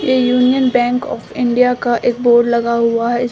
ये Union Bank of India का एक बोर्ड लगा हुआ है।